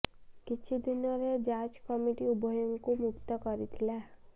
କିଛି ଦିନ ରେ ଯାଚ କମିଟି ଉଭୟଙ୍କୁ ମୁକ୍ତ କରିଥିଲା